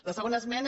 la segona esmena